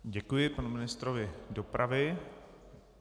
Děkuji panu ministrovi dopravy.